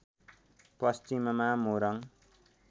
पश्चिममा मोरङ